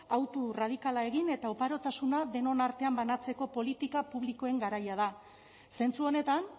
autu radikala egin eta oparotasuna denon artean banatzeko politika publikoen garaia da zentzu honetan